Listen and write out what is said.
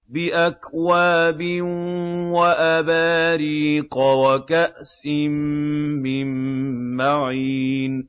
بِأَكْوَابٍ وَأَبَارِيقَ وَكَأْسٍ مِّن مَّعِينٍ